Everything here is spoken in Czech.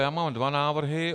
Já mám dva návrhy.